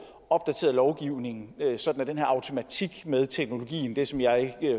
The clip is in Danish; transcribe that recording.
opdateret lovgivningen sådan at den her automatik med teknologien det som jeg